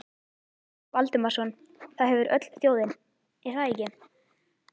Jens Valdimarsson: Það hefur öll þjóðin, er það ekki?